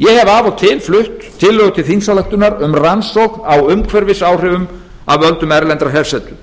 ég hef af og til flutt tillögur til þingsályktunar um rannsókn á umhverfisáhrifum af völdum erlendrar hersetu